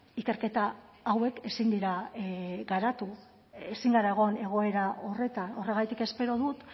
ikerketa hauek ezin dira garatu ezin gara egon egoera horretan horregatik espero dut